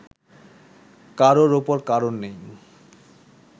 কারওর ওপর কারওর নেই